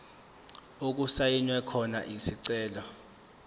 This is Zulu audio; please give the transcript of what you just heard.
okusayinwe khona isicelo